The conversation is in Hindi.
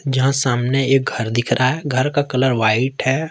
जहां सामने एक घर दिख रहा है घर का कलर व्हाइट है।